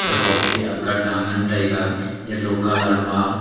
ekhop ke akat taa ngan taiga yellow colour ma